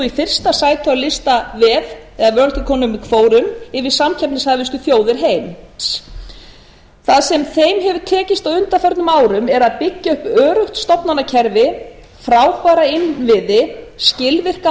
fyrsta sæti á listavef eða forum yfir samkeppnishæfustu þjóðir heims það sem þeim hefur tekist á undanförnum árum er að byggja upp öruggt stofnanakerfi frábæra innviði skilvirka